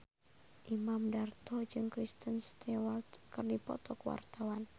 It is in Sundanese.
Imam Darto jeung Kristen Stewart keur dipoto ku wartawan